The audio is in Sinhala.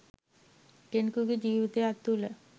කෙනෙකුගේ ජීවිතයක් තුළ